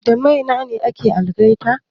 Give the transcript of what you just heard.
Da Mainene ake algaita?